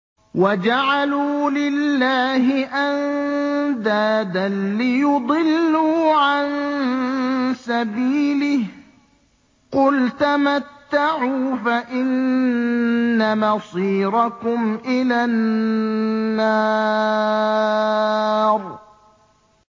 وَجَعَلُوا لِلَّهِ أَندَادًا لِّيُضِلُّوا عَن سَبِيلِهِ ۗ قُلْ تَمَتَّعُوا فَإِنَّ مَصِيرَكُمْ إِلَى النَّارِ